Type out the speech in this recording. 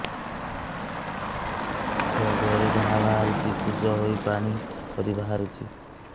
ଛୁଆ ଦେହରେ ଘା ବାହାରିଛି ପୁଜ ହେଇ ପାଣି ପରି ବାହାରୁଚି